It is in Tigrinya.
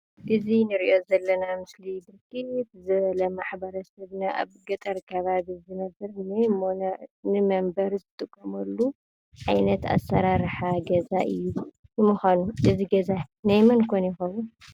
እዚ እንሪኦ ዘለና ምስሊ ብርክት ዝበሉ ማሕበረሰብና ኣብ ገጠር ከባቢ ዝነብሩሉ ንመንበሪ ዝጥቀምሉ ዓይነት ኣሰራርሓ ገዛ እዩ። ንምኳኑ እዚ ገዛ ናይ መን ኮን ይኸዉን?